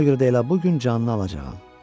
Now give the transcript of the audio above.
Ona görə də elə bu gün canını alacağam.